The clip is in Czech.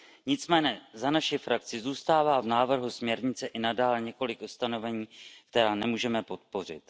Nicméně za naši frakci zůstává v návrhu směrnice i nadále několik ustanovení, která nemůžeme podpořit.